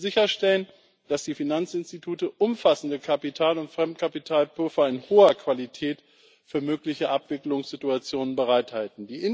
Wir müssen sicherstellen, dass die Finanzinstitute umfassende Kapital und Fremdkapitalpuffer in hoher Qualität für mögliche Abwicklungssituationen bereithalten.